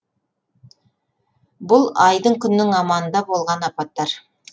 бұл айдың күннің аманында болған апаттар